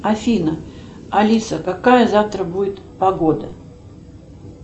афина алиса какая завтра будет погода